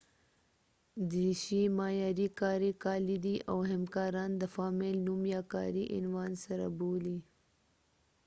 دریشي معیاري کاري کالي دي او همکاران د فامیل نوم یا کاري عنوان سره بولي